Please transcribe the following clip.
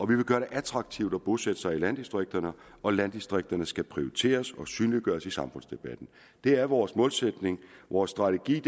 vil gøre det attraktivt at bosætte sig i landdistrikterne og landdistrikterne skal prioriteres og synliggøres i samfundsdebatten det er vores målsætning vores strategi